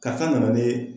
Ka taa na ye